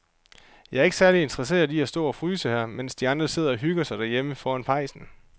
Jeg er ikke særlig interesseret i at stå og fryse her, mens de andre sidder og hygger sig derhjemme foran pejsen.